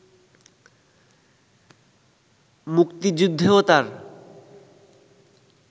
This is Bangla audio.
মুক্তিযুদ্ধেও তার